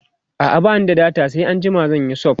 a'a bani da data sai anjima zanyi sub